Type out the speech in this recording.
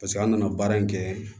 Paseke an nana baara in kɛ